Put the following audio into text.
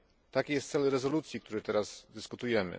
Taki jest cel rezolucji, o której teraz dyskutujemy.